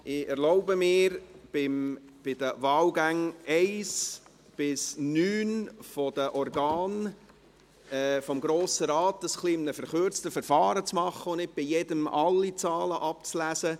Ich erlaube mir, dies bei den Wahlgängen 1–9 betreffend die Organe des Grossen Rates in einem etwas abgekürzten Verfahren zu tun und nicht überall alle Zahlen abzulesen.